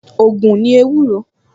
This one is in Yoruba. Ògùn ni ewúro